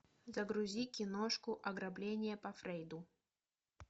загрузи киношку ограбление по фрейду